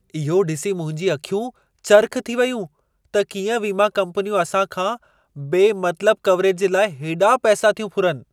इहो ॾिसी मुंहिंजूं अखियूं चरख़ थी वयूं त कीअं वीमा कम्पनियूं असां खां बेमतलब कवरेज जे लाइ हेॾा पैसा थियूं फुरनि।